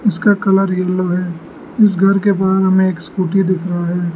इसका colour yellow है इस घर के बाहर में एक स्कूटी दिख रहा है।